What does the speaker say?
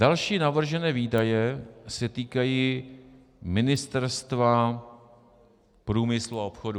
Další navržené výdaje se týkají Ministerstva průmyslu a obchodu.